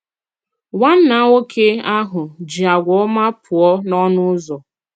Nwànnà nwoke ahụ̀ jì àgwà òmá pụọ n'ọnụ ụzọ.